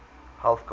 health gods